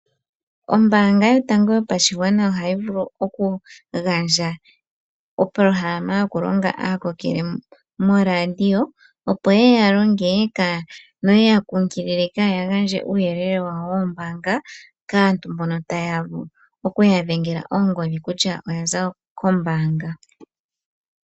Ombaanga yotango yopashigwana ohayi vulu oku gandja opolohalama yoku longa aakokele moRadio opo yeya longe note ya kunkilile kaaya gandje uuyelele wawo wombaanga kaantu mbono taye ya kutya oya za kombaanga.